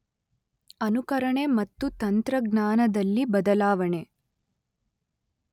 ಅನುಕರಣೆ ಮತ್ತು ತಂತ್ರಜ್ಙಾನದಲ್ಲಿ ಬದಲಾವಣೆ